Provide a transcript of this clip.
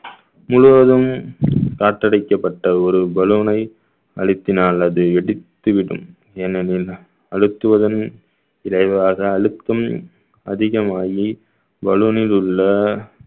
முழுவதும் காற்றடிக்கப்பட்ட ஒரு பலூனை அழுத்தினால் அது வெடித்து விடும் ஏனெனில் அழுத்துவதன் விரைவாக அழுத்தும் அதிகமாயி பலூனில் உள்ள